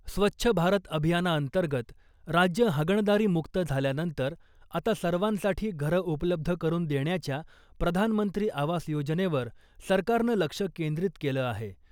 स्वच्छ भारत अभियानाअंतर्गत राज्य हागणदारीमुक्त झाल्यानंतर आता सर्वांसाठी घरं उपलब्ध करून देण्याच्या प्रधानमंत्री आवास योजनेवर सरकारनं लक्ष केंद्रीत केलं आहे .